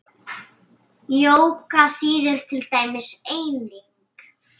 Jóga þýðir til dæmis eining.